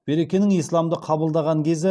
берекенің исламды қабылдаған кезі